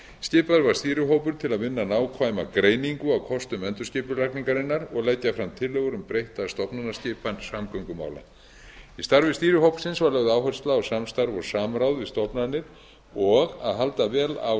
var stýrihópur til að vinna nákvæma greiningu á kostum endurskipulagningarinnar og leggja fram tillögur um breytta stofnanaskipan samgöngumála í starfi stýrihópsins var lögð áhersla á samstarf og samráð við stofnanir og að halda vel á